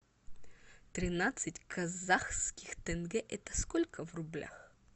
тринадцать казахских тенге это сколько в рублях